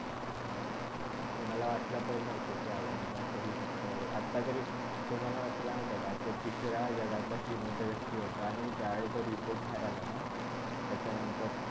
हा ना, कुणला वाटला पण नव्हता असा अदानीचा असा होवू शक्ता, आता तरी तो मला वाटते, तुला माहित का तो तिसरा जगातला श्रीमंत व्यक्ती होता आणि ज्यावेळी report बाहेर आला ना त्याच्यानंतर